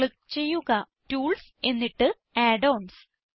click ചെയ്യുക tools എന്നിട്ട് add ons